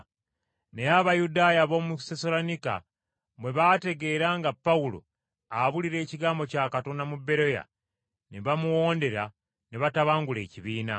Naye Abayudaaya ab’omu Sessaloniika bwe baategeera nga Pawulo abuulira ekigambo kya Katonda mu Beroya, ne bamuwondera ne batabangula ekibiina.